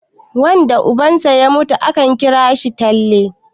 wanda ubansa ya mutum akan kira shi talle